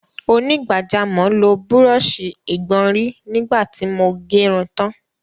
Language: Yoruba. Onígbàjámọ̀ lo búrọ̀ṣì ìgbọ̀nrí nígbà tí mo gẹrun tán